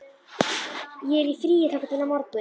Ég er í fríi þangað til á morgun.